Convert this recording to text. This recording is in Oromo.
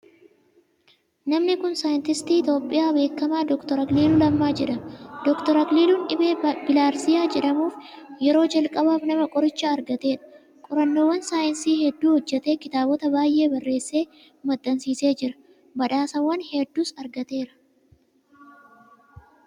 Namni kun saayintistii Itiyoophiyaa beekamaa Dr. Akiliiluu Lammaa jedhama. Dr. Akiliiluun dhibee Bilihaarziyaa jedhamuuf yeroo jalqabaaf nama qoricha argateedha. Qorannoowwan saayinsii hedduu hojjetee, kitaabota baay'ee barreessee maxxansiisee jira. Badhaasawwan hedduus argateera.